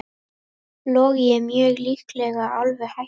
Logi mjög líklega alveg hættur